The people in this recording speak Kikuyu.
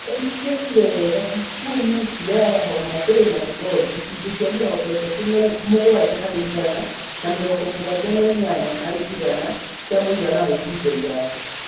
Mbembe itiekire wega Kisumu, Siaya, Homa Bay na Migori (gĩcunjĩ kĩa mĩrongo ĩtatũ na mũgwanja harĩ igana na mĩrongo mũgwanja na inyanya harĩ igana kĩa mũigana wa ihinda iraya).